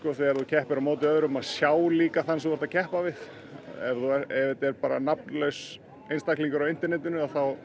þegar þú keppir á móti öðrum að sjá þann sem þú ert að keppa við ef þetta er bara nafnlaus einstaklingur á internetinu